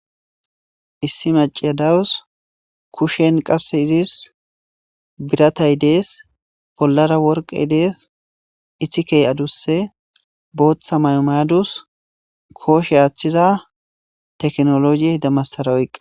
Issi maciya dawus kushen qasse izis biratay dees bollara worqe dees ithikey aduse booththa maymayadus kooshe aaththiza teknologi demassara oqqa